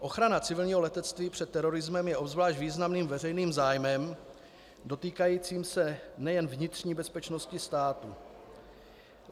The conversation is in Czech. Ochrana civilního letectví před terorismem je obzvlášť významným veřejným zájmem, dotýkajícím se nejen vnitřní bezpečnosti státu.